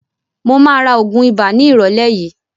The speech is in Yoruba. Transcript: Mo máa ra oògùn ibà ní ìrólé yìí.